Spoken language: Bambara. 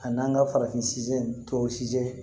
A n'an ka farafin tɔw sijɛn